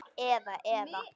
Eða, eða.